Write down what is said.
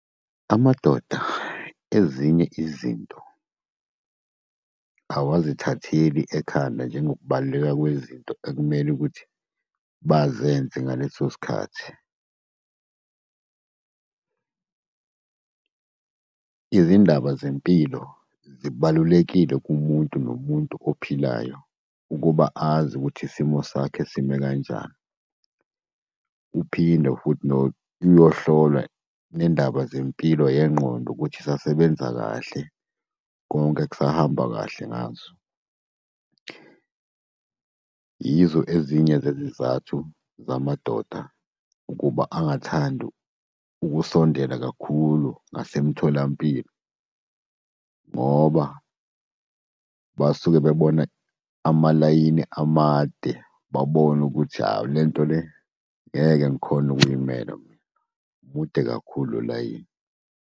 Amadoda, ezinye izinto awazithatheli ekhanda, njengokubaluleka kwezinto ekumele ukuthi bazenze ngaleso sikhathi. Izindaba zempilo zibalulekile kumuntu nomuntu ophilayo, ukuba azi ukuthi isimo sakhe sime kanjani. Uphinde futhi uyohlolwa nendaba zempilo yengqondo ukuthi isasebenza kahle, konke kusahamba kahle ngazo. Yizo ezinye zezizathu zamadoda ukuba angathandi ukusondela kakhulu ngasemtholampilo. Ngoba basuke bebona amalayini amade, babone ukuthi hawu lento le, ngeke ngikhone ukuy'mela mina. Mude kakhulu lo, layini.